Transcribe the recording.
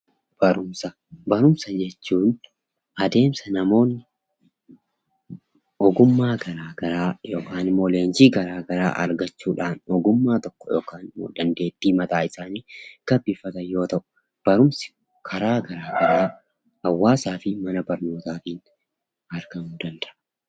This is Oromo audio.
Barumsa jechuun adeemsa namoonni ogummaa yookiin leenjii garaa garaa argachuudhaan ogummaa yookiin dandeettii mataa isaanii gabbifatan yoo ta'u, Barumsa karaa garaa garaa fi hawaasaa fi mana barumsa iraa argamuu danda'a.